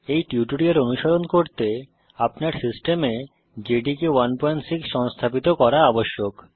এই টিউটোরিয়াল অনুসরণ করতে আপনার সিস্টেমে জেডিকে 16 সংস্থাপিত করা আবশ্যক